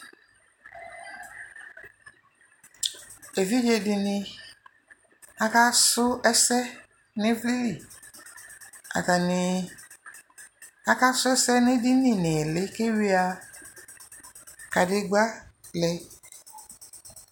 evidƶe dini aka su ɛsɛ nu ivli li atani aka su ɛsɛ n'edini n'iɣili ku eyua kanegba lɛ